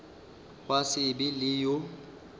gwa se be le yo